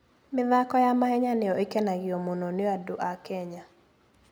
mĩthako ya mahenya nĩyo ĩkenagio mũno nĩ andũ a Kenya.